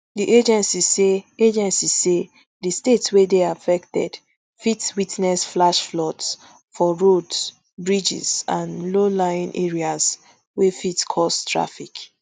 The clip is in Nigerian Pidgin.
di agency say agency say di state wey dey affected fit witness flash floods for roads bridges and lowlying areas wey fit cause traffic